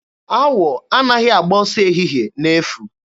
Awọ anaghị agba ọsọ ehihe n'efu.